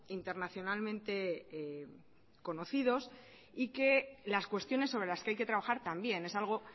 internacionalmente conocidos y que las cuestiones sobre las que hay que trabajar también es algo